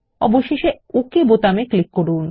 অবশেষে ওকে বাটনে ক্লিক করুন